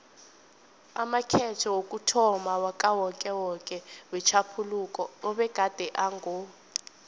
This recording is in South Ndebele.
amakhetho wokuthomma wakawokewoke wetjhaphuluko abegade ango